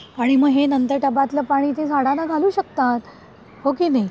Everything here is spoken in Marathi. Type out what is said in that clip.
आणि म हे नंतर टबातलं पाणी झाडांना घालू शकतात हो की नाही?